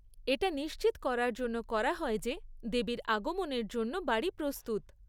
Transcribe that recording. এটা নিশ্চিত করার জন্য করা হয় যে দেবীর আগমনের জন্য বাড়ি প্রস্তুত।